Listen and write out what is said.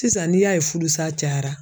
Sisan n'i y'a ye fudusa cayara